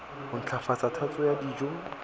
ho ntlafatsa tatso ya dijo